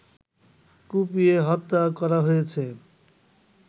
কুপিয়ে হত্যা করা হয়েছে